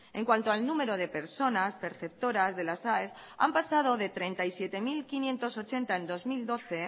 en cuanto al número de personas perceptoras de las aes han pasado de treinta y siete mil quinientos ochenta en dos mil doce